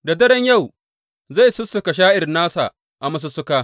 Da daren yau zai sussuka sha’ir nasa a masussuka.